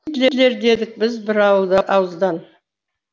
гитлер дедік біз бір ауыздан